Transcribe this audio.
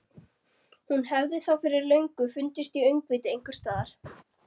Hún hefði þá fyrir löngu fundist í öngviti einhvers staðar.